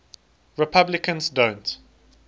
replicants don't